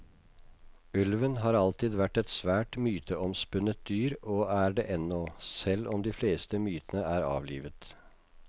Ulven har alltid vært et svært myteomspunnet dyr og er det ennå, selv om det fleste mytene er avlivet.